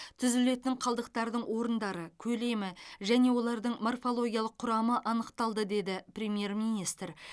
түзілетін қалдықтардың орындары көлемі және олардың морфологиялық құрамы анықталды деді премьер министр